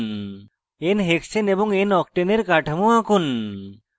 nhexane এবং noctane এর কাঠামো আঁকুন